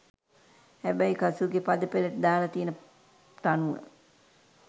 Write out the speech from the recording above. හැබැයි කසූගේ පද පෙලට දාල තියෙන තනුව